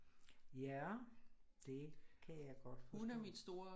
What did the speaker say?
Ja det kan jeg godt forstå